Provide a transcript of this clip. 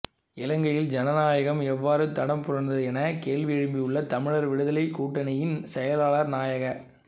இலங்கையில் ஜனநாயகம் எவ்வாறு தடம் புரண்டதெனக் கேள்வியெழுப்பியுள்ள தமிழர் விடுதலைக் கூட்டணியின் செயலாளர் நாயக